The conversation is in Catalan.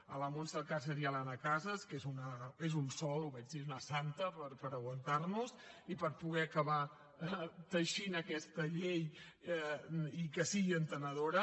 a la montse alcàcer i a l’anna casas que és un sol ho vaig dir una santa per aguantar nos i per poder acabar teixint aquesta llei i que sigui entenedora